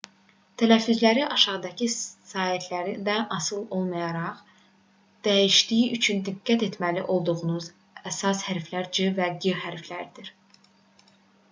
tələffüzləri aşağıdakı saitlərdən asılı olaraq dəyişdiyi üçün diqqət etməli olduğumuz əsas hərflər c və g hərfləridir